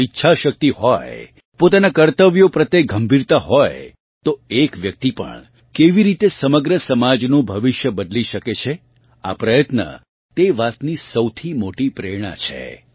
જો ઇચ્છાશક્તિ હોય પોતાના કર્તવ્યો પ્રત્યે ગંભીરતા હોય તો એક વ્યક્તિ પણ કેવી રીતે સમગ્ર સમાજનું ભવિષ્ય બદલી શકે છે આ પ્રયત્ન તે વાતની સૌથી મોટી પ્રેરણા છે